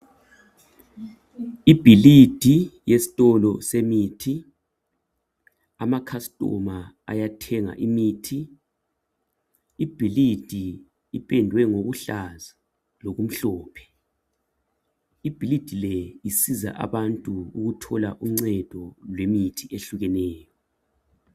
Ibhilidi yesitolo semithi, ama customer ayathenga imithi. Ibhilidi lipendwe ngokuhlaza lokumhlophe. Ibhilidi le isiza abantu ukuthola uncedo lwemithi ehlukeneyo